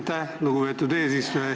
Aitäh, lugupeetud eesistuja!